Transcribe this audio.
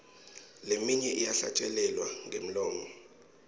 leminye iyahlatjelelwa ngemlomo